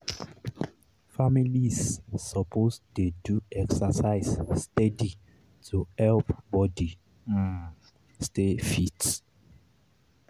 families suppose dey do exercise steady to help body um stay fit.